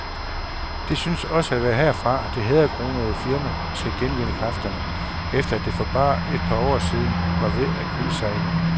Det synes også at være herfra, det hæderkronede firma skal genvinde kræfterne, efter at det for bare et par år siden var ved at kuldsejle.